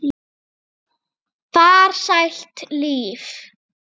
Svo er það þessi sími.